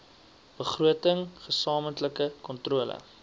begroting gesamentlike kontrole